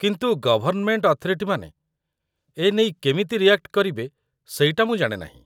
କିନ୍ତୁ ଗଭର୍ଣ୍ଣମେଣ୍ଟ୍ ଅଥରିଟିମାନେ ଏନେଇ କେମିତି ରିଆକ୍ଟ କରିବେ ସେଇଟା ମୁଁ ଜାଣେ ନାହିଁ ।